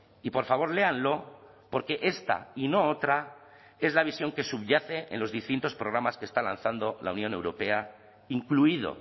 y por favor léanlo porque esta y no otra es la visión que subyace en los distintos programas que está lanzando la unión europea incluido